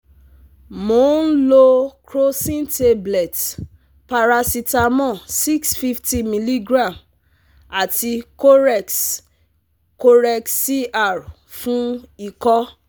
Mo n lo crocin tablet paracetamol six hundred fifty miligram ati corex corex - CR fun iko